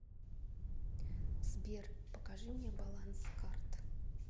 сбер покажи мне баланс карт